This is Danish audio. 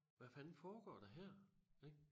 Hvad fanden foregår der her ik